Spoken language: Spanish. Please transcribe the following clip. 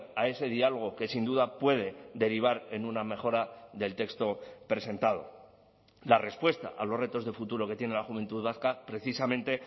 a ese diálogo que sin duda puede derivar en una mejora del texto presentado la respuesta a los retos de futuro que tiene la juventud vasca precisamente